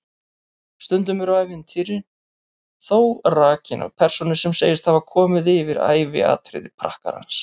Stundum eru ævintýrin þó rakin af persónu sem segist hafa komist yfir æviatriði prakkarans.